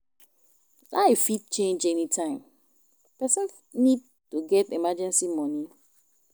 Life fit change anytime, person need to get emergency money